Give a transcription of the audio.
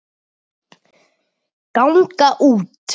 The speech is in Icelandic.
ganga út